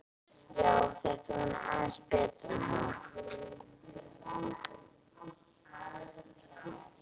Já, þetta var nú aðeins betra, ha!